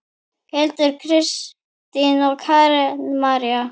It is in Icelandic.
Hildur, Kristín og Karen María.